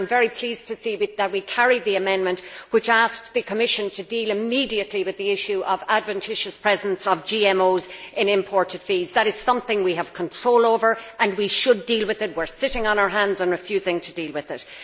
I am very pleased to see that we carried the amendment which asks the Commission to deal immediately with the issue of adventitious presence of GMOs in imported feeds. That is something we have control over and we should deal with it, and we have been sitting on our hands and refusing to deal with it.